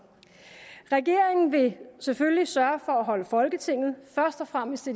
regeringen vil selvfølgelig sørge for at holde folketinget først og fremmest